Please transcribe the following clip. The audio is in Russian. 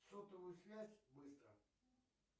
сотовую связь быстро